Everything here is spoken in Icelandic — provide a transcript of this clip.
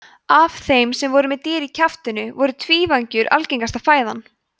af þeim sem voru með dýr í kjaftinum voru tvívængjur algengasta fæðan